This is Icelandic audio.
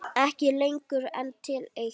Ekki lengur en til eitt.